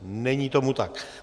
Není tomu tak.